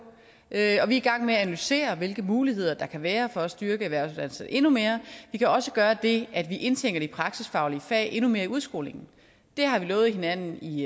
er i gang med at analysere hvilke muligheder der kan være for at styrke erhvervsuddannelserne endnu mere vi kan også gøre det at vi indtænker de praktisk faglige fag endnu mere i udskolingen det har vi lovet hinanden i